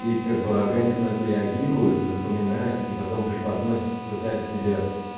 и как бы организм на это реагирует запоминает и потом преподносит пытается себя